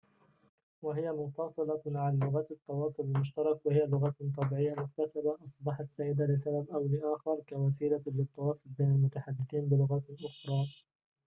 وهي منفصلة عن لغات التواصل المشترك وهي لغات طبيعية مكتسبة أصبحت سائدة لسبب أو لآخر كوسيلة للتواصل بين المتحدثين بلغات أخرى